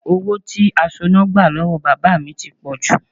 Owó tí asoná gbà lọ́wọ́ bàbá mi ti pọ̀jù